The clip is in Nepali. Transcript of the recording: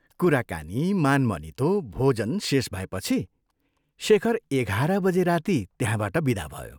कुराकानी, मानमनितो, भोजन शेष भएपछि शेखर एघार बजे राती त्यहाँबाट विदा भयो।